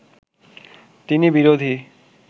তিনি বিরোধী